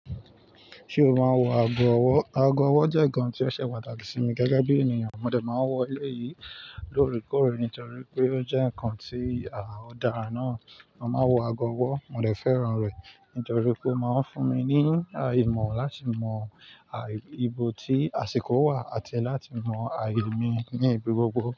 Ṣé o máa ń wo ago ọwọ́? Ago ọwọ́ jẹ́ ǹkan tí ó ṣe pataki sí mi gẹ́gẹ́ bí ènìyàn. Mo dẹ̀ máa wọ ilé yìí lóre kọ́re nítorí pé ó jẹ́ ǹkan tí a ò dáa náà. Mo máa ń wo ago ọwọ́, mo dẹ̀ fẹ́ràn rẹ̀ nítorí pé ó máa ń fún mi ní àìmọ̀ láti mọ ibo tí àsìkò wà àti láti mọ àìní mi ní ibi gbogbo.